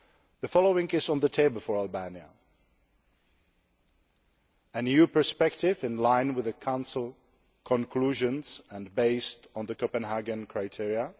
The following is on the table for Albania an EU perspective in line with the Council conclusions and based on the Copenhagen criteria